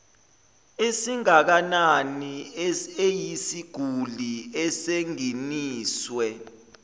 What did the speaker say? esingakanani eyisiguli esingeniswe